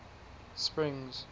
springs